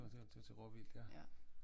Det var til råvildt ja